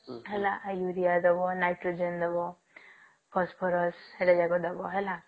ହେଲା ୟୁରିଆ ଦବ ନାଇଟ୍ରୋଜେନ ଦବ ଫସ୍ଫରସ ଦବ ହେଲା